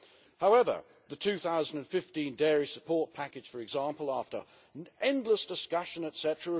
However, the 2015 dairy support package, for example, after endless discussion, etc.,